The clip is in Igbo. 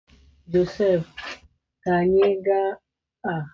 Josef ka anyị ga-aga ụka n'elekere ise?